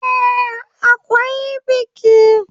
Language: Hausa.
Eh, akwai biki.